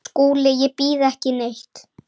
SKÚLI: Ég býð ekki neitt.